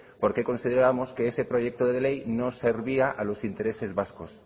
por qué considerábamos que ese proyecto de ley no servía a los intereses vascos